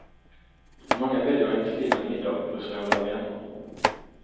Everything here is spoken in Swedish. Många väljer en stilla middag hos några vänner.